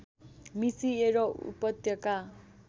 मिसिएर उपत्यका